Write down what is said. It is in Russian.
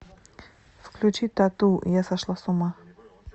включи т а т у я сошла с ума